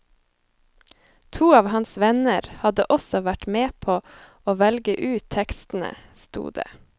To av hans venner hadde også vært med på å velge ut tekstene, sto det.